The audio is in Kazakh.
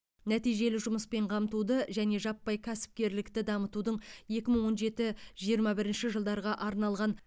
нәтижелі жұмыспен қамтуды және жаппай кәсіпкерлікті дамытудың екі мың он жеті жиырма бірінші жылдарға арналған